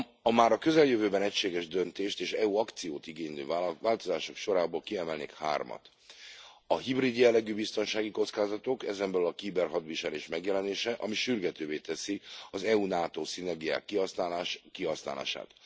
A már a közeljövőben egységes döntést és EU akciót igénylő változások sorából kiemelnék hármat a hibrid jellegű biztonsági kockázatok, ezen belül a kiberhadviselés megjelenése, ami sürgetővé teszi az EU NATO szinergiák kihasználását.